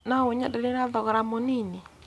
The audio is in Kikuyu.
no ũnyenderie na thogora mũnini